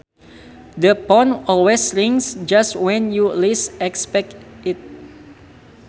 The phone always rings just when you least expect it